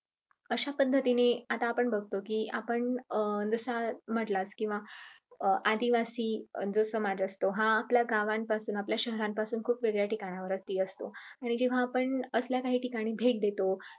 अशा पद्धतीने आत्ता आपण बगतो कि आपण अं पण जसा मटला आदिवासी समाज असतो हा गावांपासून आपल्या शहरांपासून खूप वेगळ्या ठिकाणी असतो. आणि जेव्हा आपण असल्या काही ठिकाणी भेट देतो.